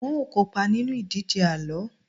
n o kópa nínú ìdíje àlọ